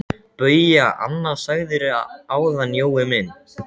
BAUJA: Annað sagðirðu áðan, Jói minn.